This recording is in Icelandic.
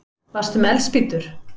Varstu með eldspýtur?